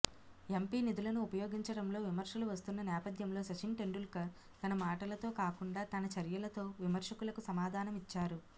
MP నిధులను ఉపయోగించడంలో విమర్శలు వస్తున్న నేపథ్యంలో సచిన్ టెండూల్కర్ తన మాటలతో కాకుండా తన చర్యలతో విమర్శకులకు సమాధానమిచ్చారు